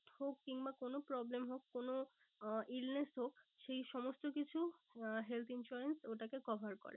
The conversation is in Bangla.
হোক বা কোনো problem হোক কোনো আহ illness হোক সেই সমস্ত কিছু আহ health insurance ওটাকে cover করে